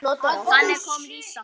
Þannig kom Lísa.